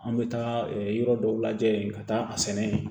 An bɛ taa yɔrɔ dɔw lajɛ yen ka taa a sɛnɛ